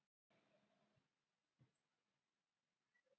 Meiðsli er talið það eina sem gæti komið í veg fyrir sölu hans.